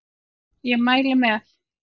Ég mæli með